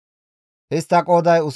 Istta qooday 62,700.